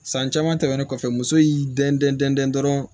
San caman tɛmɛnen kɔfɛ muso y'i dɛn dɛn dɔrɔn